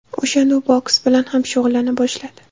O‘shanda u boks bilan ham shug‘ullana boshladi.